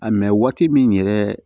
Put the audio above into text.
A waati min yɛrɛ